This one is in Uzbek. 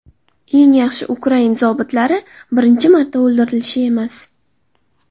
Eng yaxshi ukrain zobitlari birinchi marta o‘ldirilishi emas.